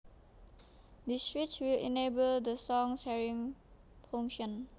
This switch will enable the song sharing function